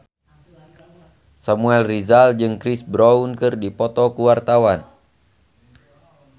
Samuel Rizal jeung Chris Brown keur dipoto ku wartawan